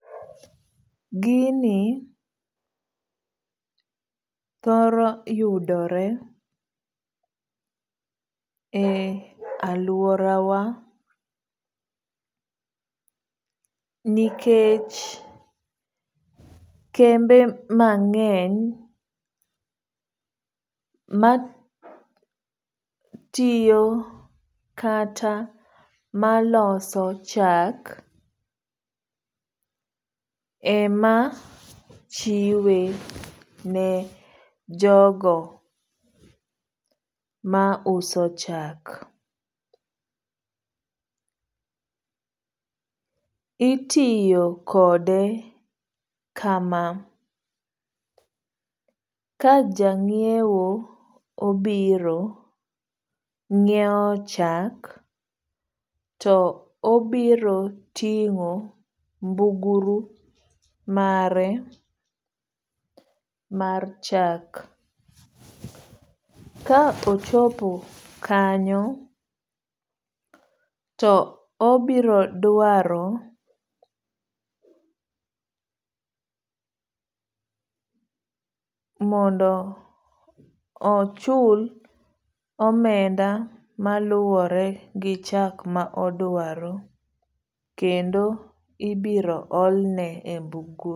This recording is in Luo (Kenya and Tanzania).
Gini thoro yudore e aluora wa nikech kembe mang'eny matiyo kata maloso chak ema chiwe ne jogo ma uso chak. Itiyo kode kama ka ja ng'iewo obiro ng'iew chak to obiro ting'o mbuguru mare mar chak. Ka ochopo kanyo to obiro dwaro mondo ochul omenda maluwore gi chak ma odwaro kendo ibiro ole e mbuguru.